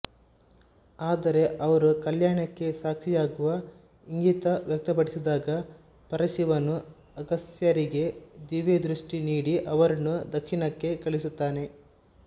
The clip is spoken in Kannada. ಆದರೆ ಅವರೂ ಕಲ್ಯಾಣಕ್ಕೆ ಸಾಕ್ಷಿಯಾಗುವ ಇಂಗಿತ ವ್ಯಕ್ತಪಡಿಸಿದಾಗ ಪರಶಿವನು ಅಗಸ್ತ್ಯರಿಗೆ ದಿವ್ಯದೃಷ್ಟಿ ನೀಡಿ ಅವರನ್ನು ದಕ್ಷಿಣಕ್ಕೆ ಕಳಿಸುತ್ತಾನೆ